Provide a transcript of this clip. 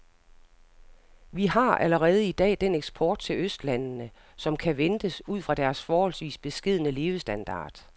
Vi har allerede i dag den eksport til østlandene, som kan ventes ud fra deres forholdsvis beskedne levestandard.